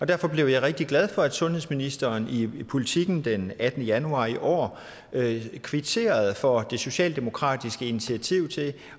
derfor rigtig glad for at sundhedsministeren i politiken den attende januar i år kvitterede for det socialdemokratiske initiativ til